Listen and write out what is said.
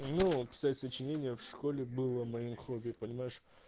ну писать сочинение в школе было моим хобби понимаешь